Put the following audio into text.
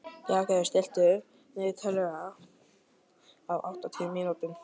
Bjarngerður, stilltu niðurteljara á átján mínútur.